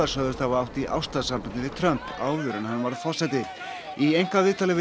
sögðust hafa átt í ástarsambandi við Trump áður en hann varð forseti í einkaviðtali við